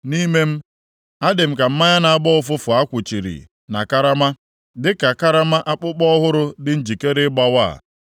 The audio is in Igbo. Nʼime m, adị m ka mmanya na-agbọ ụfụfụ a kwuchiri na karama, dịka karama akpụkpọ ọhụrụ dị njikere ịgbawa.